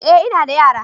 eh ina da yara.